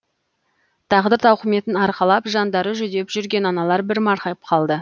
тағдыр тауқыметін арқалап жандары жүдеп жүрген аналар бір марқайып қалды